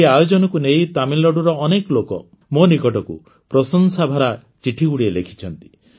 ଏହି ଆୟୋଜନକୁ ନେଇ ତାମିଲନାଡୁର ଅନେକ ଲୋକ ମୋ ନିକଟକୁ ପ୍ରଶଂସାଭରା ଚିଠିଗୁଡ଼ିଏ ଲେଖିଛନ୍ତି